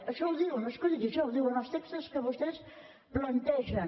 això ho diuen no és que ho digui jo els textos que vostès plantegen